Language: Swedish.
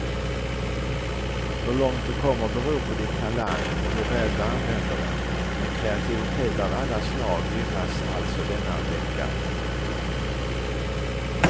Hur långt du kommer beror på din talang och hur väl du använder den, men kreativitet av alla slag gynnas alltså denna vecka.